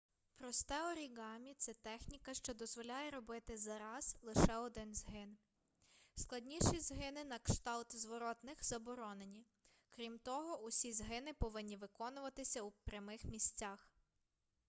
просте оріґамі це техніка що дозволяє робити за раз лише один згин складніші згини на кшталт зворотних заборонені крім того усі згини повинні виконуватися у прямих місцях